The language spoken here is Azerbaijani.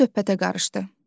Ayşə söhbətə qarışdı: